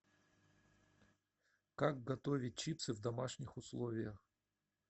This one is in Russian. как готовить чипсы в домашних условиях